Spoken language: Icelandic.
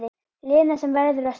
Lena sem verður að stöðva.